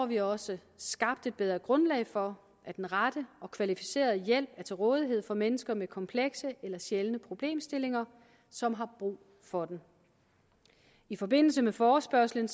vi også skabt et bedre grundlag for at den rette og kvalificerede hjælp er til rådighed for mennesker med komplekse eller sjældne problemstillinger som har brug for den i forbindelse med forespørgslen